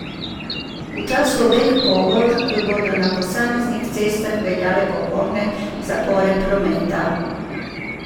V času obeh povork bodo na posameznih cestah veljale popolne zapore prometa.